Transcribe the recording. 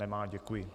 Nemá, děkuji.